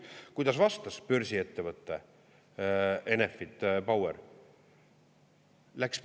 Kuidas vastas börsiettevõte Enefit Power?